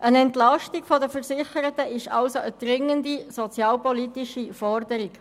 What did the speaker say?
Die Entlastung der Versicherten ist also eine dringende sozialpolitische Forderung.